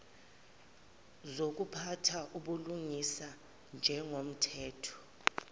zokuphatha ubulungisa njengomthetho